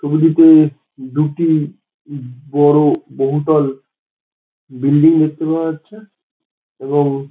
ছবিটিতে দুটি বড় বহুতল বিল্ডিং দেখতে পাওয়া যাচ্ছে | এবং--